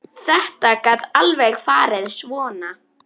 Þetta gat alveg farið svona.